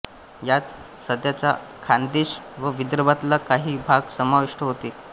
यात सध्याच्या खानदेश व विदर्भातला काही भाग समाविष्ट होते